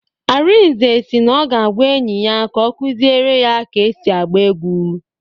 Arinze si na ọ ga-agwa enyi ya ka ọ kuziere ya ka esi agba egwu